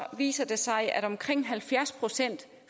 viser det sig at omkring halvfjerds procent